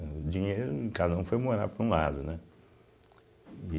O dinheiro, e cada um foi morar para um lado, né?